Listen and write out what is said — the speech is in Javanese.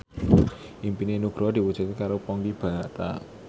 impine Nugroho diwujudke karo Ponky Brata